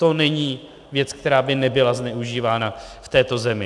To není věc, která by nebyla zneužívána v této zemi.